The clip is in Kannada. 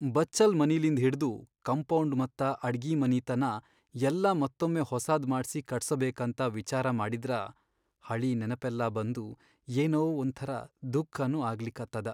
ಬಚ್ಚಲ್ ಮನಿಲಿಂದ್ ಹಿಡ್ದು ಕಂಪೌಡ್ ಮತ್ತ ಅಡ್ಗಿಮನಿತನಾ ಯಲ್ಲಾ ಮತ್ತೊಮ್ಮೆ ಹೊಸಾದ್ ಮಾಡ್ಸಿ ಕಟ್ಸಬೇಕಂತ ವಿಚಾರ ಮಾಡಿದ್ರ ಹಳೀ ನೆನಪೆಲ್ಲಾ ಬಂದು ಏನೋ ಒಂಥರಾ ದುಃಖನೂ ಆಗ್ಲಿಕತ್ತದ.